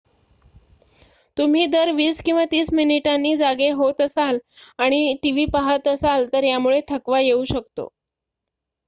तुम्ही दर वीस किंवा तीस मिनिटांनी जागे होत असाल आणि टीव्ही पाहत असाल तर यामुळे थकवा येऊ शकतो